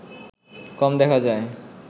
কম দেখা যায়